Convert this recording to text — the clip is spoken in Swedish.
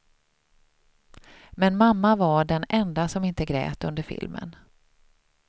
Men mamma var den enda som inte grät under filmen.